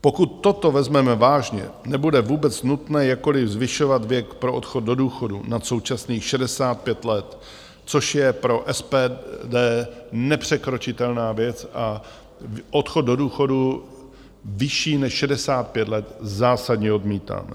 Pokud toto vezmeme vážně, nebude vůbec nutné jakkoliv zvyšovat věk pro odchod do důchodu nad současných 65 let, což je pro SPD nepřekročitelná věc, a odchod do důchodu vyšší než 65 let zásadně odmítáme.